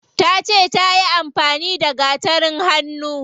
Tace tayi amfani da gatarin hannu.